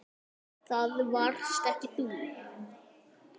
Það varst ekki þú.